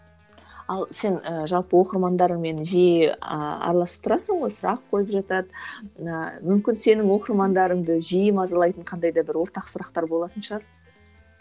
ал сен ы жалпы оқырмандарыңмен жиі араласып тұрасың ғой сұрақ қойып жатады ыыы мүмкін сенің оқырмандарыңды жиі мазалайтын қандай да бір ортақ сұрақтар болатын шығар